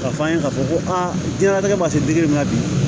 K'a fɔ an ye k'a fɔ ko aa diɲɛnatigɛ ma se ma bi